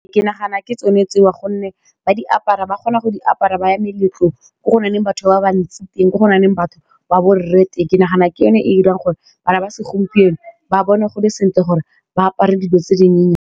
Ke nagana ke tsone tsewa gonne ba di apara ba kgona go di apara ba ya meletlong ko go na leng batho ba bantsi teng ko go na leng batho ba borre teng, ke nagana ke yone e dirang gore bana ba segompieno ba bone gole sentle gore ba apare dilo tse dinyenyane.